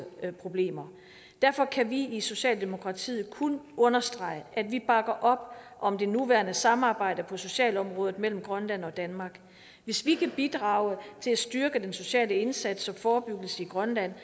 problemer derfor kan vi i socialdemokratiet kun understrege at vi bakker op om det nuværende samarbejde på socialområdet mellem grønland og danmark hvis vi kan bidrage til at styrke den sociale indsats og forebyggelse i grønland